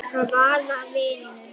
Hvaða vinnu?